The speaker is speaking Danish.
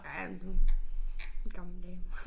Ja men hun en gammel dame